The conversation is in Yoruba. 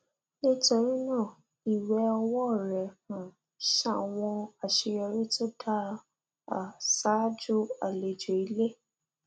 nítorí náà ìwẹ ọwọ rẹ um ṣàwọn àṣeyọrí tó dáa um ṣáájú àlejò ilé